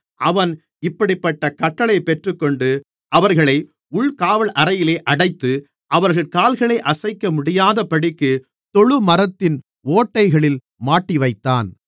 அவன் இப்படிப்பட்டக் கட்டளையைப் பெற்றுக்கொண்டு அவர்களை உள்காவல் அறையிலே அடைத்து அவர்கள் கால்களை அசைக்க முடியாதபடிக்கு தொழுமரத்தின் ஓட்டைகளில் மாட்டிவைத்தான்